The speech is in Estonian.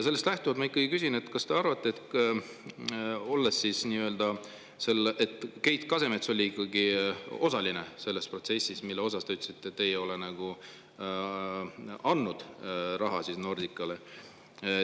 Sellest lähtuvalt ma küsin, kas te arvate, et Keit Kasemets oli osaline selles protsessis, mille puhul te ütlesite, et te ei ole andnud raha Nordicale.